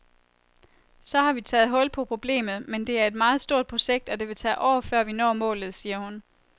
Så vi har taget hul på problemet, men det er et meget stort projekt, og det vil tage år, før vi når målet, siger hun.